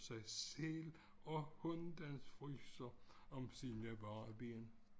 Sig selv og hunden fryser om sine bare ben